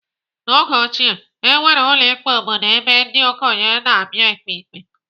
N'oge ochie, enwere ụlọ ikpe obodo ebe ndị okenye na-abịa ekpe ikpe.